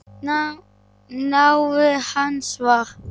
Nafn hans var